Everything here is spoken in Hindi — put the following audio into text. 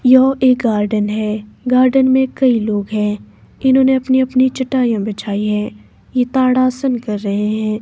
यह एक गार्डन है गार्डन में कई लोग हैं इन्होंने अपनी अपनी चटाइयाँ बिछाई है ये ताड़ासन कर रहे हैं।